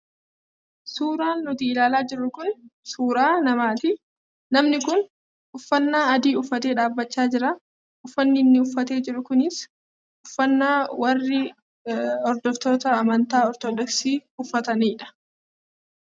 Suuraan nuti ilaalaa jirru kun suuraa namaati. Namni kun uffannaa adii uffatee dhaabbachaa jira. Uffanni inni uffatee jiru kunis uffannaa warri hordoftoota amantaa ortodoksii uffatanidha.